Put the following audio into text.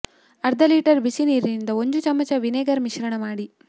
ಅರ್ಧ ಲೀಟರ್ ಬಿಸಿ ನೀರಿನಿಂದ ಒಂದು ಚಮಚ ವಿನೆಗರ್ ಮಿಶ್ರಣ ಮಾಡಿ